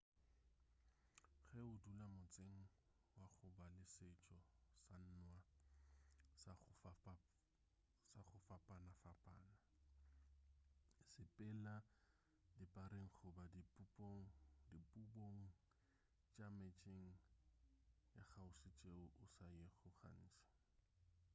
ge o dula motseng wa go ba le setšo sa nwa sa go fapanafapana sepela dipareng goba dipubong tša metseng ya kgauswi tšeo o sa yego gantši